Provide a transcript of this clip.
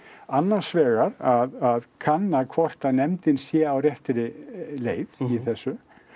annars vegar að kanna hvort að nefndin sé á réttri leið í þessu